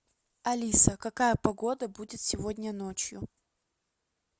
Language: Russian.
алиса какая погода будет сегодня ночью